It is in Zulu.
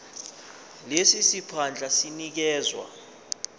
lesi siphandla sinikezwa